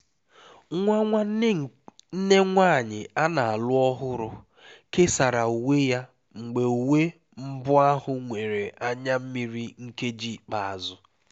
nwa nwanne nne nwanyị a na-alụ ọhụrụ kesara uwe ya mgbe uwe mbụ ahụ nwere anya mmiri nkeji ikpeazụ